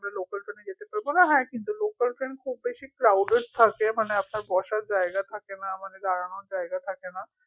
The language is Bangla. আমরা local train এ গেছি তো তারপরেও হ্যা কিন্তু local train খুব বেশি crowded মানে আপনার বসার জায়গা থাকে না মানে দাঁড়ানোর জায়গা থাকেনা